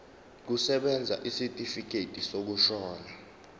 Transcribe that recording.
kusebenza isitifikedi sokushona